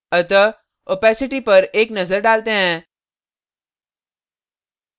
opacity पर एक नज़र डालते हैं